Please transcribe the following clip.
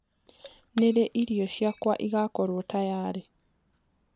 ni riiĩrĩo cĩakwa igakorwo tayarĩ